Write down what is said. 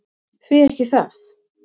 Því ekki það!